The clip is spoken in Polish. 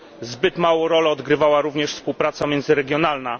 Zbyt małą rolę odgrywała również współpraca międzyregionalna.